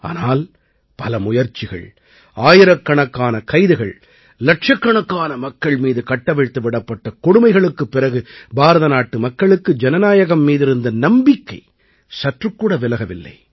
ஆனால் பல முயற்சிகள் ஆயிரக்கணக்கான கைதுகள் இலட்சக்கணக்கான மக்கள் மீது கட்டவிழ்த்து விடப்பட்ட கொடுமைகளுக்குப் பிறகு பாரத நாட்டு மக்களுக்கு ஜனநாயகம் மீதிருந்த நம்பிக்கை சற்றுக்கூட விலகவில்லை